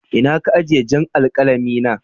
Inna ka ajie jan' alkalami na?